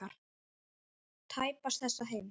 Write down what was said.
Tæpast þessa heims.